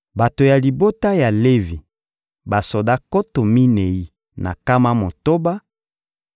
bato ya libota ya Levi: basoda nkoto minei na nkama motoba;